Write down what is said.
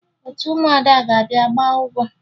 Otu ụmụada ga-abịa gbaa ụgwọ